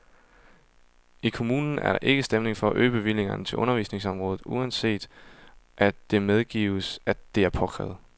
I kommunen er der ikke stemning for at øge bevillingerne til undervisningsområdet, uanset at det medgives, at det er påkrævet.